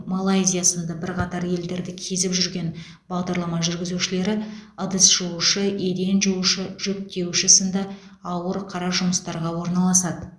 малайзия сынды бірқатар елдерді кезіп жүрген бағдарлама жүргізушілері ыдыс жуушы еден жуушы жүк тиеуші сынды ауыр қара жұмыстарға орналасады